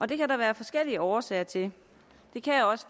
det kan der være forskellige årsager til det kan